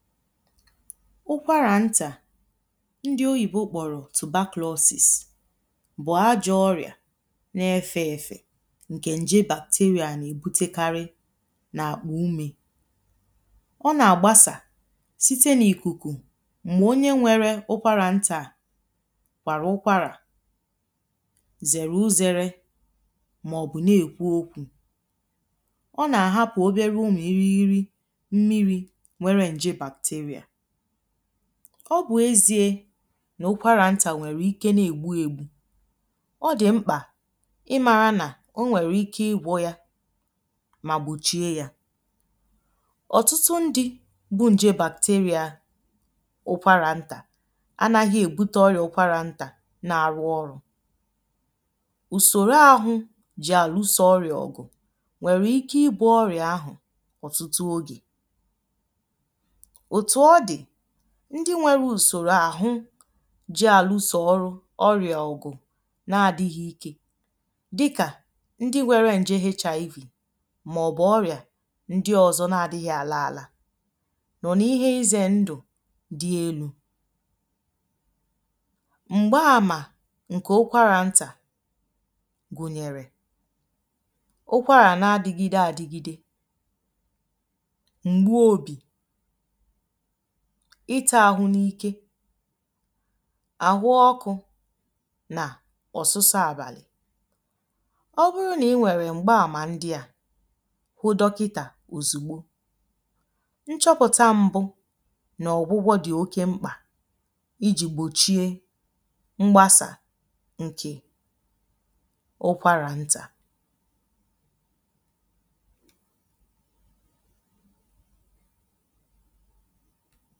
ụkwarà ntà ndi oyìbo kpọrọ̀ tòbachlọsis bụ̀ ajọ̇ ọrị̀à na-efė efė ǹkè nje bàktéría à nà-èbutekarị n’àkpụ umė ọ nà-àgbasà site n’ìkùkù m̀gbè onye nwere ụkwarà ntà kwàrà ụkwarà zèrè uzere màọ̀bụ̀ na-èkwu okwu̇ ọ nà-àhapụ̀ obere umi̇ iri iri mmiri nwere nje bàktéria ọ bụ̀ eziė nà ukwara ntȧ nwèrè ike na-ègbu ėgbu̇ ọ dị̀ mkpà ịmȧra nà onwèrè ike igwọ̇ ya mà gbùchie yȧ ọ̀tụtụ ndị̇ bụ nje bàktéria ukwara ntà anaghị èbute ọrịà ukwara ntà na-arụ ọrụ̇ ùsòro ahụ̇ jì àlụsȧ ọrịà ọ̀gụ̀ nwèrè ike igbu̇ ọrịà ahụ̀ ọ̀tụtụ ogè ùtu ọ̀dì ndi nwere ùsòrò àhụ ji àlụ sò ọrụ ọrịà ọ̀gụ̀ na adi̇ghị̇ ike dịkà ndi nwere ǹje hiví mà ọ̀bụ̀ ọrịà ndi ọ̀zọ na adighi̇ àlà àlà nọ̀ n’ihe ize ndụ̀ dị elu̇ m̀gba àmà ǹkè ụkwarà ntà gùnyèrè ụkwarà na adigide àdigide m̀gbu obì ịtȧ ahụ̇ n’ike àhụ ọkụ̇ nà ọ̀sụsọ àbàlị̀ ọ bụrụ nà ị nwèrè m̀gbaàmà ndị à hụ dọkịtà òzìgbo nchọpụ̀ta mbụ nà ọ̀gbụgbọ dị̀ oke mkpà ijì gbòchie mgbasà ǹkè ụkwarà ntà